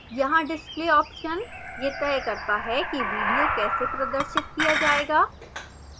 यहां display option यह the करता है कि video कैसे प्रदर्शित किया जाएगा